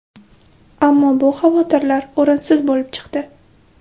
Ammo bu xavotirlar o‘rinsiz bo‘lib chiqdi.